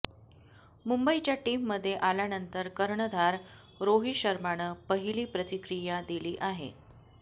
मुंबईच्या टीममध्ये आल्यानंतर कर्णधार रोहित शर्मानं पहिली प्रतिक्रिया दिली आहे